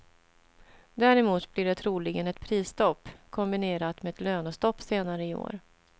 Däremot blir det troligen ett prisstopp, kombinerat med ett lönestopp senare i år.